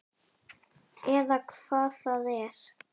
Eða hvað það er.